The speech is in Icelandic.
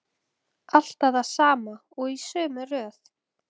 Hvað ef Tóti hefði rétt fyrir sér?